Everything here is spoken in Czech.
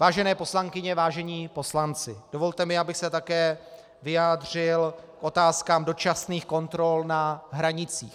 Vážené poslankyně, vážení poslanci, dovolte mi, abych se také vyjádřil k otázkám dočasných kontrol na hranicích.